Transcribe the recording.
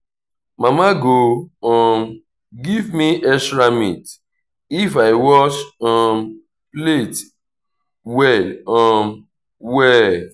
mama go um give me extra meat if i wash um plate well um well.